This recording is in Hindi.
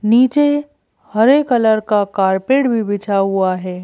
नीचे हरे कलर का कारपेट भी बिछा हुआ है।